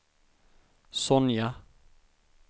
Sonja